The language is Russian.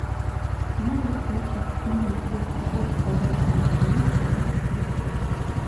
можешь включить кино губка боб квадратные штаны семнадцатая часть